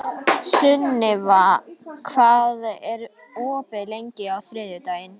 Sunniva, hvað er opið lengi á þriðjudaginn?